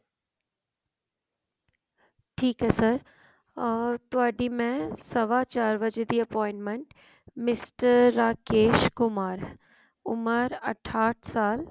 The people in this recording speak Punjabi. ਠੀਕ ਹੈ sir or ਤੁਹਾਡੀ ਮੈਂ ਸਵਾ ਚਾਰ ਵਜੇ ਦੀ appointment mister ਰਾਕੇਸ਼ ਕੁਮਾਰ ਉਮਰ ਅਠਾਹਟ ਸਾਲ